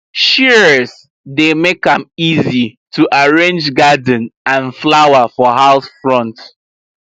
shears dey make am easy to arrange garden and flower for house front